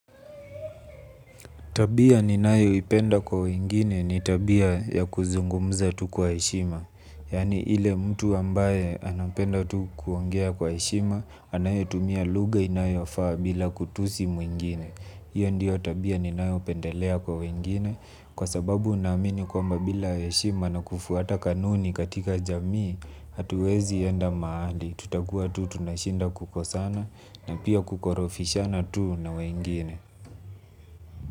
Tabia ninayoipenda kwa wengine ni tabia ya kuzungumza tu kwa heshima. Yaani ile mtu ambaye anapenda tu kuongea kwa heshima, anayetumia lugha inayofaa bila kutusi mwingine. Hiyo ndiyo tabia ninayopendelea kwa wengine, kwa sababu naamini kwamba bila heshima na kufuata kanuni katika jamii, hatuwezi enda mahali. Tutakua tu tuna shida kubwa sana na pia kukorofishana tu na wengine.